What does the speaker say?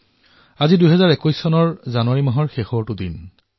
আজি ২০২১ চনৰ জানুৱাৰী মাহৰ অন্তিমটো দিন